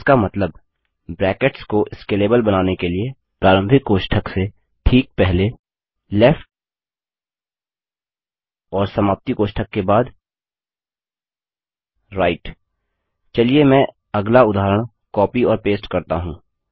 इसका मतलब ब्रैकेट्स को स्केलेबल बनाने के लिए प्रारंभिक कोष्टक से ठीक पहले लेफ्ट और समाप्ति कोष्ठक के बाद राइट चलिए मैं अगला उदाहरण कॉपी और पेस्ट करता हूँ